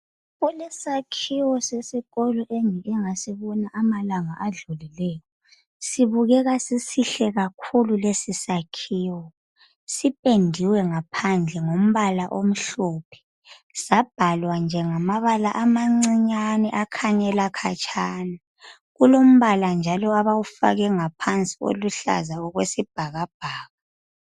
Kulesakhiwo sesikolo engike ngasibona amalanga adlulileyo. Sibukeka sisihle kakhuku lesi sakhiwo sipendiwe ngaphandle ngombal omhlophe sabhalwa nje ngamabala amancinyane akhanyela khatshana. Kulombala nje abawufake ngaphansi oluhlaza okwesibhakabhaka.